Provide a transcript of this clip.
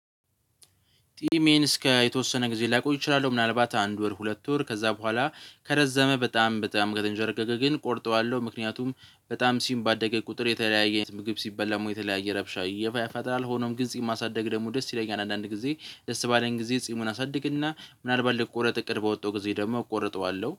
ጢሜን እስከ የተወሰነ ጊዜ ላቆይ እችላለሁ ምናልባት አንድ ወር ሁለት ወር ከዛ በኋላ ከረዘመ በጣም በጣም ከተንዠረገገ ግን እቆርጠዋለሁ ምክንያቱም በጣም ጺም ባደገ ቁጥር የተለያየ ምግብ ሲበላም የተለያየ ረብሻ ይገባካል ጥላል። ሆኖም ግን ጺም ማሳደግ ደግሞ ደስ ይለኛል። አንዳንድ ጊዜ ደስ ባለኝ ጊዜ ጺሙን አሳድግና ምናልባት ልቆረጥ እቅድ ባወጣው ጊዜ ደግሞ እቆርጠዋለሁ።